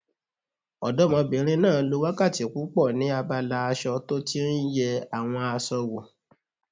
Ọdọ́mọbìnrin náà lo wákàtí púpọ̀ ní abala aṣọ tó tí n yẹ àwọn aṣọ wò